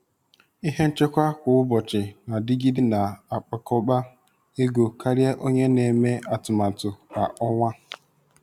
Ihe nchekwa kwa ụbọchị na-adịgide na-akpakọba ego karịa onye na-eme atụmatụ kwa ọnwa.